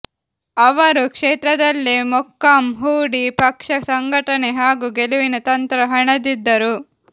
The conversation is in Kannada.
ಅವರು ಕ್ಷೇತ್ರದಲ್ಲೇ ಮೊಕ್ಕಾಂ ಹೂಡಿ ಪಕ್ಷ ಸಂಘಟನೆ ಹಾಗೂ ಗೆಲುವಿನ ತಂತ್ರ ಹೆಣೆದಿದ್ದರು